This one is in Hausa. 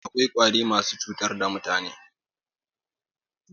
Akwai Ƙwari masu cutar da mutane